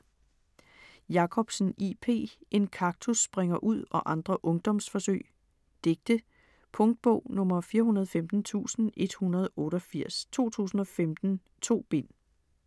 Jacobsen, J. P.: En Kaktus springer ud og andre Ungdomsforsøg Digte. Punktbog 415188 2015. 2 bind.